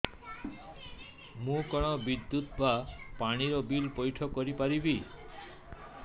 ମୁ କଣ ବିଦ୍ୟୁତ ବା ପାଣି ର ବିଲ ପଇଠ କରି ପାରିବି